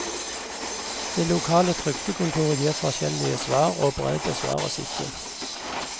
Det lokale trygdekontoret gir forskjellige svar, og brev besvares ikke.